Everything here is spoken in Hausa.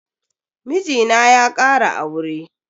Mijina ya kara aure.